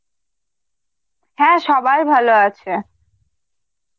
হ্যাঁ সবাই ভালো আছে.